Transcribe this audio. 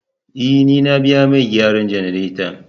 E, ni na biya mai gyaran jannaretan.